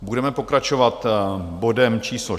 Budeme pokračovat bodem číslo